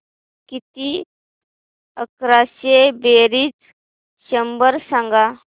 किती अकराशे बेरीज शंभर सांग